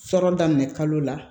Fɔlɔ daminɛ kalo la